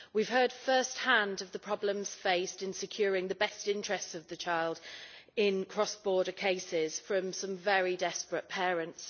We have heard first hand of the problems faced in securing the best interests of the child in cross border cases from some very desperate parents.